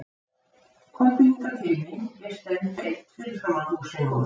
Komdu hingað til mín, ég stend beint fyrir framan húsið núna.